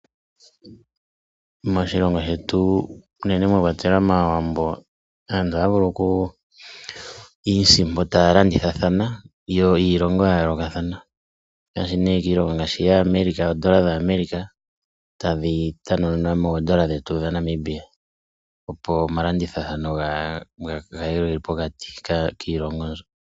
Moshilongo shetu unene mwa kwatelwa mAawambo, aantu ohaya vulu okumona iisimpo taya landithathana niilongo ya yoolokathana ngaashi America, odola yaAmerica tadhi shendjelwa moodola dhetu dhaNamibia, opo omalandithathano ga kale ge li pokati kiilongo mbyoka.